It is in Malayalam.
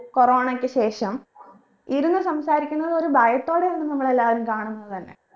corona യ്ക്ക് ശേഷം ഇരുന്ന് സംസാരിക്കുന്നത് ഒരു ഭയത്തോടെയായിരുന്ന് നമ്മൾ എല്ലാരും കാണുന്നത് തന്നെ